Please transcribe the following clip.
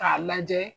K'a lajɛ